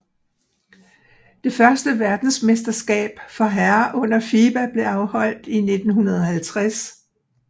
Det første verdensmesterskab for herrer under FIBA blev afholdt i 1950